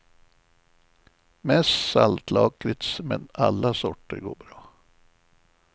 Mest saltlakrits, men alla sorter går bra.